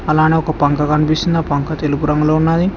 అలానే ఒక పంక కనిపిస్తుంది ఆ పంక తెలుపు రంగులో ఉన్నాది.